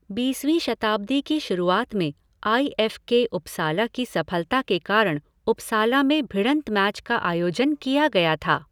बीसवीं शताब्दी की शुरुआत में आई एफ़ के उपसाला की सफलता के कारण उपसाला में भिड़ंत मैच का आयोजन किया गया था।